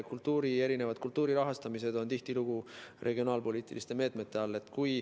Kultuuri rahastamine on tihtilugu regionaalpoliitiliste meetmete all.